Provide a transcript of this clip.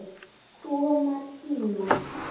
Koma tímar!